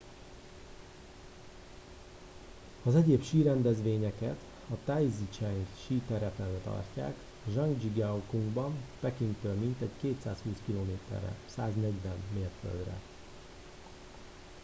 az egyéb sírendezvényeket a taizicheng síterepen tartják zhangjiakouban pekingtől mintegy 220 km-re 140 mérföldre